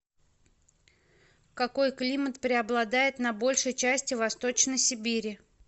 какой климат преобладает на большей части восточной сибири